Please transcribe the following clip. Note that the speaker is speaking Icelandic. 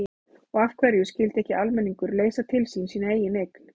Og af hverju skyldi ekki almenningur leysa til sín sína eigin eign?